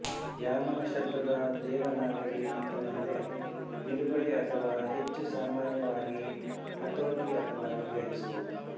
ಯಾಮ ಶಬ್ದದ ದೇವನಾಗರಿ ಅರ್ಥವೆಂದರೆ ನಿಲುಗಡೆ ಅಥವಾ ಹೆಚ್ಚು ಸಾಮಾನ್ಯವಾಗಿ ಹತೋಟಿ ಅಥವಾ ನಿಗ್ರಹಿಸು